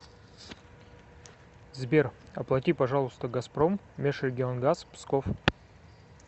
сбер оплати пожалуйста газпром межрегионгаз псков